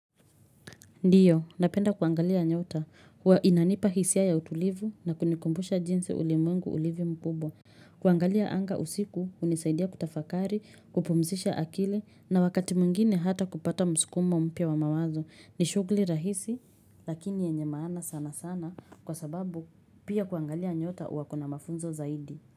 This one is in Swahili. Ndiyo, napenda kuangalia nyota. Inanipa hisia ya utulivu na kunikumbusha jinsi ulimwengu ulivyo mkubwa. Kuangalia anga usiku hunisaidia kutafakari, kupumzisha akili na wakati mwingine hata kupata msukumo mpya wa mawazo. Ni shughuli rahisi lakini yenye maana sana sana kwa sababu pia kuangalia nyota huwa kuna mafunzo zaidi.